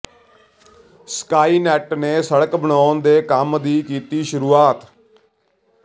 ਸਕਾਈਨੈਂਟ ਨੇ ਸੜਕ ਬਣਾਉਣ ਦੇ ਕੰਮ ਦੀ ਕੀਤੀ ਸੁਰੂਆਤ